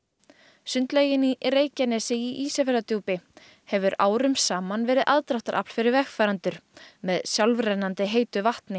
sundlaugin í Reykjanesi í Ísafjarðardjúpi hefur árum saman verið aðdráttarafl fyrir vegfarendur með sjálfrennandi heitu vatni